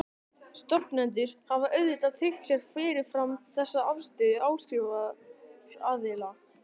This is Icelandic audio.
Stofnendur hafa auðvitað tryggt sér fyrirfram þessa afstöðu áskriftaraðila.